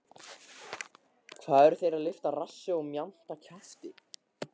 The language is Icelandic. Hvað eru þeir að lyfta rassi og mjamta kjafti?!